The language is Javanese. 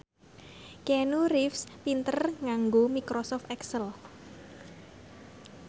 Keanu Reeves pinter nganggo microsoft excel